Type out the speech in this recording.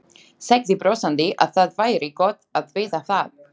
Sagði brosandi að það væri gott að vita það.